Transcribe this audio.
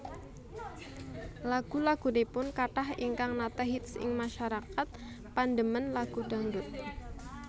Lagu lagunipun kathah ingkang nate hits ing masyarakat pandemen lagu dangdut